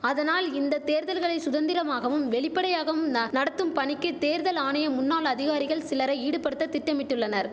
அதனால் இந்த தேர்தல்களை சுதந்திரமாகவும் வெளிபடையாகவும் ந நடத்தும் பணிக்கு தேர்தல் ஆணைய முன்னாள் அதிகாரிகள் சிலரை ஈடுபடுத்த திட்டமிட்டுள்ளார்